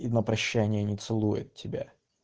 и на прощание не целует тебя